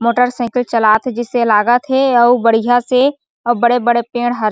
motorcycle चलात हे जिसे लागत हे और बढ़िया से और बड़े-बड़े पेड़ ह--